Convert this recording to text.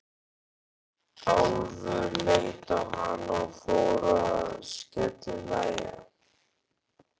Álfur leit á hann og fór að skellihlæja.